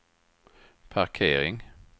parkering